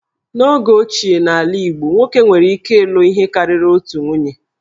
N'oge ochie n'ala Igbo, nwoke nwere ikike ilụ ihe karịrị otu nwunye